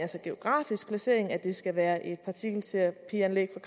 geografiske placering nemlig at det skal være et partikelterapianlæg